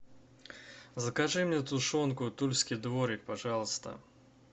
закажи мне тушенку тульский дворик пожалуйста